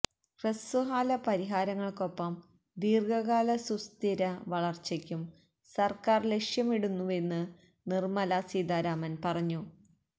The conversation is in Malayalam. ഹ്രസ്വകാല പരിഹാരങ്ങള്ക്കൊപ്പം ദീര്ഘകാല സുസ്ഥിര വളര്ച്ചയും സര്ക്കാര് ലക്ഷ്യമിടുന്നുവെന്നും നിര്മലാ സീതാരാമന് പറഞ്ഞു